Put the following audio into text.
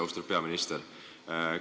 Austatud peaminister!